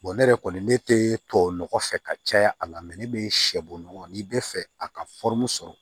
ne yɛrɛ kɔni ne tɛ tubabunɔgɔ fɛ ka caya a la ne bɛ sɛbunɔgɔ n'i bɛ fɛ a ka sɔrɔ